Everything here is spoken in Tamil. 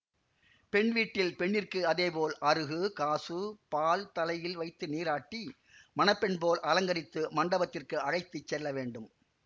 பெண் வீட்டில் பெண்ணிற்கு அதே போல் அறுகு காசு பால் தலையில் வைத்து நீராட்டி மண பெண் போல் அலங்கரித்து மண்டபத்திற்கு அழைத்து செல்லவேண்டும்